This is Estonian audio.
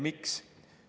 Miks?